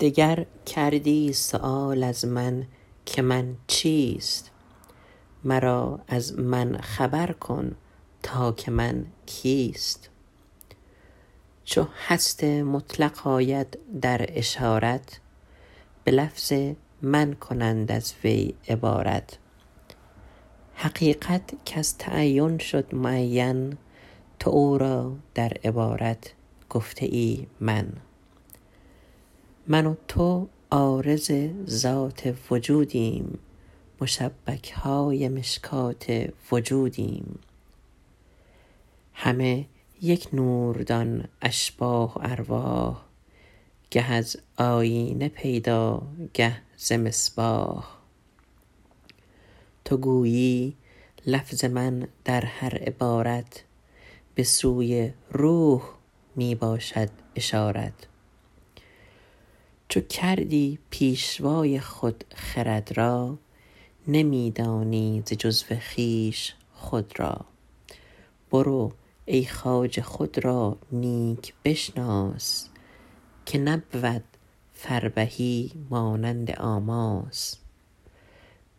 دگر کردی سؤال از من که من چیست مرا از من خبر کن تا که من کیست چو هست مطلق آید در اشارت به لفظ من کنند از وی عبارت حقیقت کز تعین شد معین تو او را در عبارت گفته ای من من و تو عارض ذات وجودیم مشبکهای مشکات وجودیم همه یک نور دان اشباح و ارواح گه از آیینه پیدا گه ز مصباح تو گویی لفظ من در هر عبارت به سوی روح می باشد اشارت چو کردی پیشوای خود خرد را نمی دانی ز جزو خویش خود را برو ای خواجه خود را نیک بشناس که نبود فربهی مانند آماس